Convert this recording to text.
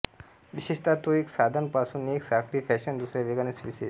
विशेषत तो एक साधन पासून एक साखळी फॅशन दुसऱ्या वेगाने स्विचेस